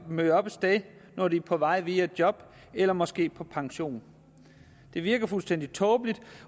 møde op et sted når de er på vej via job eller måske på pension det virker fuldstændig tåbeligt